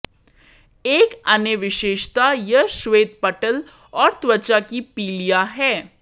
एक अन्य विशेषता यह श्वेतपटल और त्वचा की पीलिया है